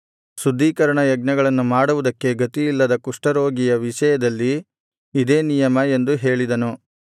ಶುದ್ಧೀಕರಣ ಯಜ್ಞಗಳನ್ನು ಮಾಡುವುದಕ್ಕೆ ಗತಿಯಿಲ್ಲದ ಕುಷ್ಠರೋಗಿಯ ವಿಷಯದಲ್ಲಿ ಇದೇ ನಿಯಮ ಎಂದು ಹೇಳಿದನು